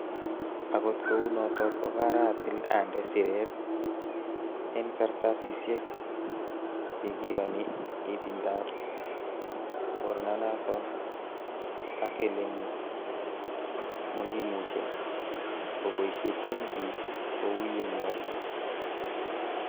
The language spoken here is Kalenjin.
Akot kounoton, ko karatil ande siret en kartasisiek che kioni itindab mornanaton ak ele mokimuche keboishechin biik kou ye nyolu.